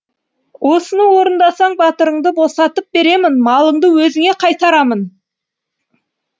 осыны орындасаң батырыңды босатып беремін малыңды өзіңе қайтарамын